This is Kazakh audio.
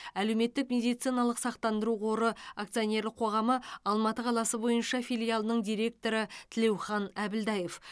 әлеуметтік медициналық сақтандыру қоры акционерлік қоғамы алматы қаласы бойынша филиалының директоры тілеухан әбілдаев